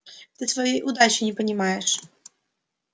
ты своей удачи не понимаешь